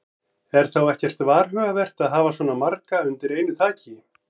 Er þá ekkert varhugavert að hafa svona marga undir einu þaki?